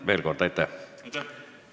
Veel kord aitäh!